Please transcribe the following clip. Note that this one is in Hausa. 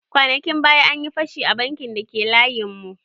Kwanakin baya, an yi fashi a bankin da ke layin mu